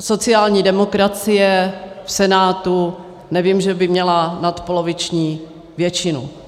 Sociální demokracie v Senátu, nevím, že by měla nadpoloviční většinu.